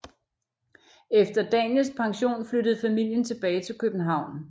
Efter Daniels pension flyttede familien tilbage til København